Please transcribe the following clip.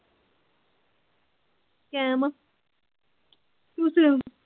ਕੈਮ ਆ ਤੂੰ ਸੁਣਾ